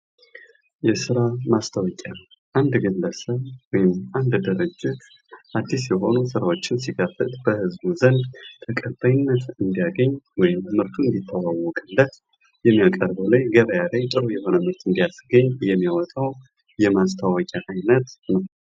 2. የሬዲዮ ማስታወቂያ : በሬዲዮ ጣቢያዎች የሚተላለፍ፣ ድምጽ ብቻ ያለው የማስታወቂያ ዓይነት። ተደማጭነቱ ከፍተኛ በሆኑ የሬዲዮ ፕሮግራሞች ጊዜ ይተላለፋል።